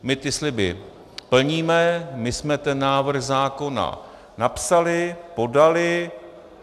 My ty sliby plníme, my jsme ten návrh zákona napsali, podali.